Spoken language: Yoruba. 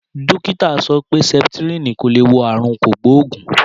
Dókítà sọ pé sẹpitirin ko le wo àrùn kogboogun.